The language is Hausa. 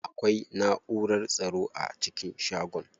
Akwai naʼurar tsaro a cikin shagon.